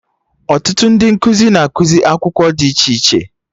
Ọtụtụ ndị nkụzi na ekuzi akwụkwọ dị iche iche